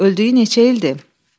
Öldüyü neçə ildir?